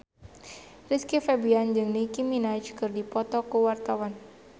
Rizky Febian jeung Nicky Minaj keur dipoto ku wartawan